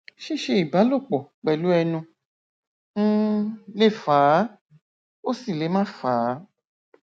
ṣíṣe ìbálòpọ pẹlú ẹnu um le fà á ó sì le má fà á